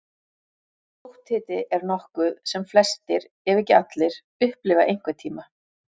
Sótthiti er nokkuð sem flestir, ef ekki allir, upplifa einhvern tíma.